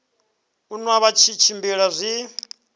u nwa vha tshimbila zwi